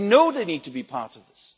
They know they need to be part of this.